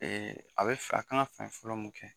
a bɛ a kan ka fɛn fɔlɔ mun kɛ